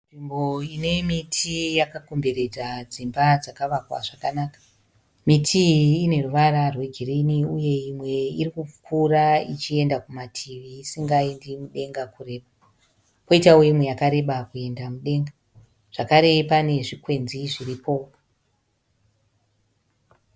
Muine miti yakakomberedza dzimba dzakavakwa zvakanaka, miti iyi ine ruvara rwegirini uye imwe iri kukura ichienda kumativi isingaendi mudenga kure. Kwoitawo imwe yakareba kuenda mudenga. Zvakare pane zvikwenzi zviripo.